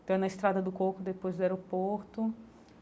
Então, na estrada do Coco, depois do aeroporto.